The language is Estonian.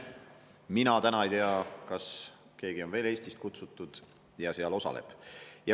Mina täna ei tea, kas keegi on veel Eestist kutsutud ja seal osaleb.